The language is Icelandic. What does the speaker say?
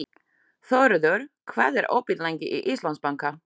Þóroddur, hvað er opið lengi í Íslandsbanka?